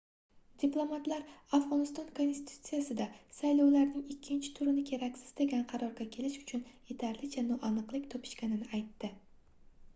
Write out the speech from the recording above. diplomatlar afgʻoniston konstitutsiyasida saylovlarning ikkinchi turini keraksiz degan qarorga kelish uchun yetarlicha noaniqlik topishganini aytdi